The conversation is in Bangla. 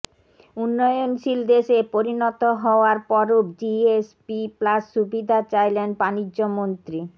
উন্নয়নশীল দেশে পরিণত হওয়ার পরও জিএসপি প্লাস সুবিধা চাইলেন বাণিজ্যমন্ত্রী